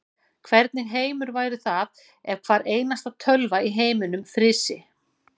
Hvernig heimur væri það ef hvar einasta tölva í heiminum frysi.